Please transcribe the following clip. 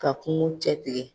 Ka kungo cɛ tigɛ